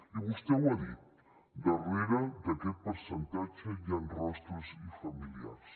i vostè ho ha dit darrere d’aquest percentatge hi han rostres i familiars